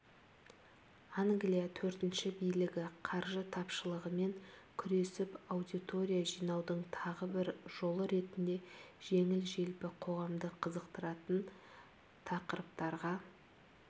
англия төртінші билігі қаржы тапшылығымен күресіп аудитория жинаудың тағы бір жолы ретінде жеңіл-желпі қоғамды қызықтыратын тақырыптарға